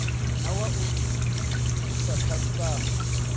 na wa u thusa khasitama